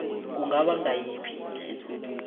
kungaba ngayiphi indlela